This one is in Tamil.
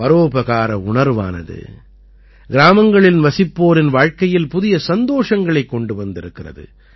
பரோபகார உணர்வானது கிராமங்களில் வசிப்போரின் வாழ்க்கையில் புதிய சந்தோஷங்களைக் கொண்டு வந்திருக்கிறது